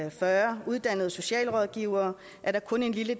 og fyrre uddannede socialrådgivere er der kun en lille